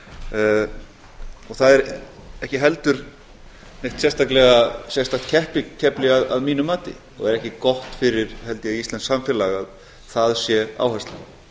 og það er ekki heldur neitt sérstakt keppikefli að mínu mati og er ekki gott fyrir held ég íslenskt samfélag að það sé áherslan